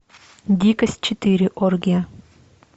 дикость четыре оргия